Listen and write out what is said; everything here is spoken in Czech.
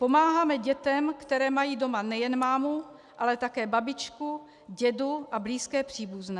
Pomáháme dětem, které mají doma nejen mámu, ale také babičku, dědu a blízké příbuzné.